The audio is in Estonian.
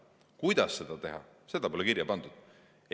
Kuidas seda teha, seda pole kirja pandud.